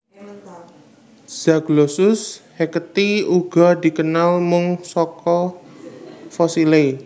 Zaglossus hacketti uga dikenal mung saka fosilé